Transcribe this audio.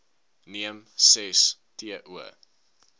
neem ses to